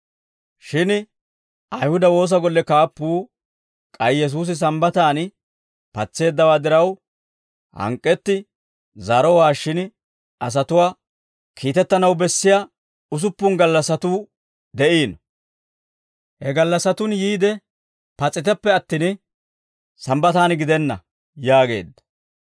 Shin Ayihuda woosa golle kaappuu k'ay Yesuusi Sambbataan patseeddawaa diraw hank'k'etti zaarowaashshin asatuwaa, «Kiitettanaw bessiyaa usuppun gallassatuu de'iino; he gallassatun yiide pas'iteppe attin Sambbataan gidenna» yaageedda.